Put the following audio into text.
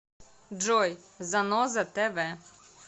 джой заноза тэ вэ